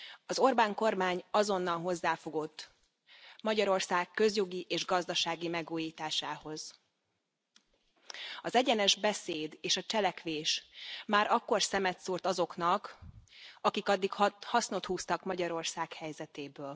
Az Orbán kormány azonnal hozzáfogott Magyarország közjogi és gazdasági megújításához. Az egyenes beszéd és a cselekvés már akkor szemet szúrt azoknak, akik addig hasznot húztak Magyarország helyzetéből.